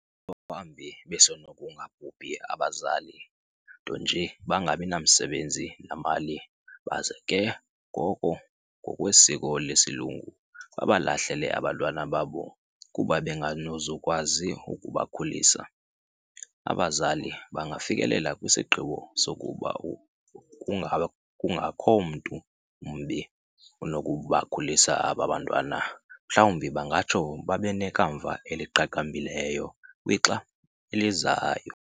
Maxa wambi besenokungabhubhi abazali, ntonje bangabinamisebenzi namali, baze ke ngoko ngokwesiko lesilungu, babalahle abantwana babo kuba benganozukwazi ukubakhulisa. Abazali bangafikelela kwisigqibo sokuba kungakho mntu mbi onokubakhulisa aba bantwana, mhlawumbi bangatsho babenekamva eliqaqambileyo kwixa elizayo.